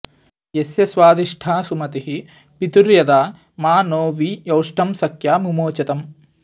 यस्य॒ स्वादि॑ष्ठा सुम॒तिः पि॒तुर्य॑था॒ मा नो॒ वि यौ॑ष्टं स॒ख्या मु॒मोच॑तम्